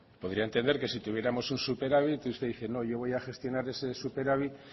podría entender que si tuviéramos un superávit usted dice no yo voy a gestionar ese superávit